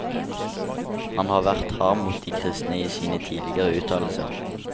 Han har vært hard mot de kristne i sine tidligere uttalelser.